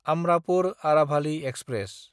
Amrapur Aravali express